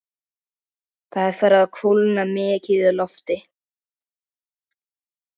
Það er farið að kólna mikið í lofti.